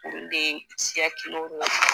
olu de siya kelenw ye